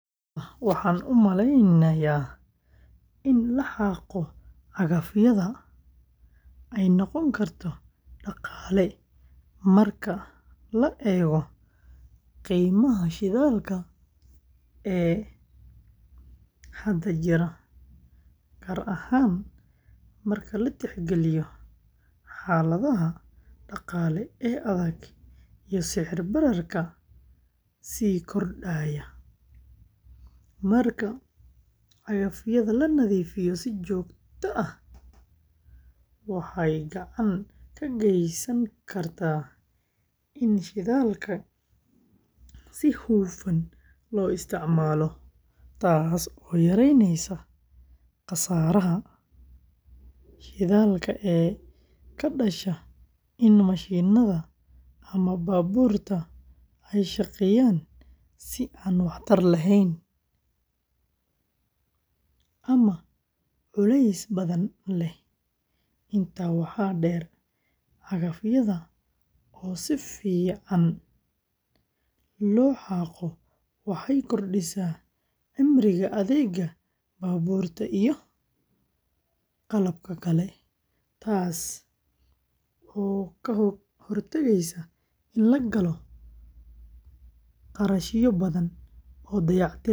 Haa, waxaan u maleynayaa in la xaaqo cagafyada ay noqon karto dhaqaale marka la eego qiimaha shidaalka ee hadda jira, gaar ahaan marka la tixgeliyo xaaladaha dhaqaale ee adag iyo sicir-bararka sii kordhaya. Marka cagafyada la nadiifiyo si joogto ah, waxay gacan ka geysan kartaa in shidaalka si hufan loo isticmaalo, taas oo yaraynaysa khasaaraha shidaalka ee ka dhasha in mashiinnada ama baabuurta ay shaqeeyaan si aan waxtar lahayn ama culays badan leh. Intaa waxaa dheer, cagafyada oo si fiican loo xaaqo waxay kordhisaa cimriga adeegga baabuurta iyo qalabka kale, taas oo ka hortagaysa in la galo kharashyo badan oo dayactir ah mustaqbalka.